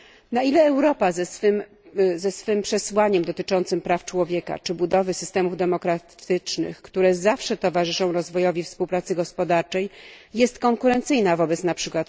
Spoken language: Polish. Na ile Europa ze swym przesłaniem dotyczącym praw człowieka czy budowy systemów demokratycznych, które zawsze towarzyszą rozwojowi współpracy gospodarczej, jest konkurencyjna wobec np.